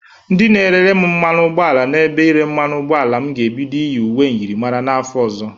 Ndị na-erere m mmanụ ụgbọ ala n'ebe ire mmanụ ụgbọ ala m ga-ebido iye uwe myịrịmara n'afọ ọzọ.